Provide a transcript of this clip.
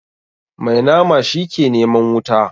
Mai nama shi ke neman wuta.